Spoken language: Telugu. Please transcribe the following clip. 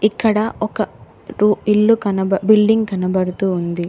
ఇక్కడ ఒక రు ఇల్లు కనబ బిల్డింగ్ కనబడుతూ ఉంది.